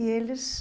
E eles...